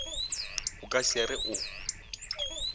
o ka se re o